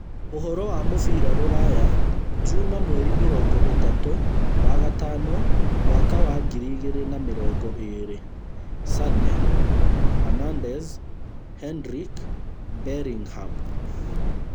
Ũhoro wa mũbira rũraya juma mweri mĩrongo ĩtatũ wa gatano mwaka wa ngiri igĩrĩ na mĩrongo ĩĩrĩ: Sane, Hernandez, Hendrick, Bellingham